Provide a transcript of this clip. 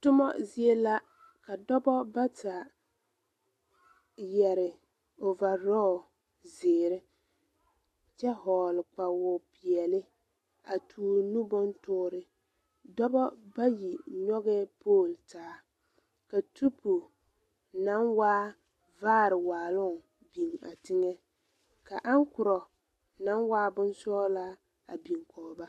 Tommo zie la ka dɔbɔ bata yɛre overall zeɛre kyɛ hɔgle kpawopeɛli a toore nubontoore doba bayi nyongee pole taa ka tupu naŋ waa vaare waaloŋ biŋ a teŋa ka angkurɔ naŋ waa bonsɔglaa biŋ koge ba.